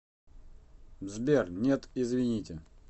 сбер нет извините